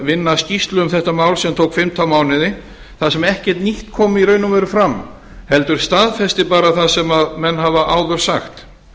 vinna skýrslu um þetta mál sem tók fimmtán mánuði þar sem ekkert nýtt kom í raun og veru fram heldur staðfesti bara það sem menn hafa áður sagt